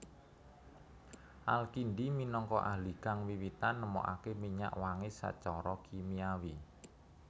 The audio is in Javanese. Al Kindi minangka ahli kang wiwitan nemokaké minyak wangi sacara kimiawi